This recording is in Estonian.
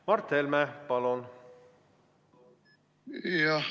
Mart Helme, palun!